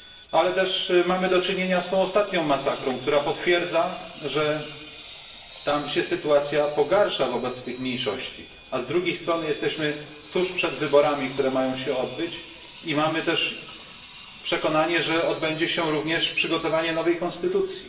Ale mamy też do czynienia z tą ostatnią masakrą, która potwierdza, że tamtejsza sytuacja pogarsza się wobec tych mniejszości. A z drugiej strony jesteśmy tuż przed wyborami, które mają się tam odbyć i jesteśmy też przekonani, że odbędzie się również przygotowanie nowej konstytucji.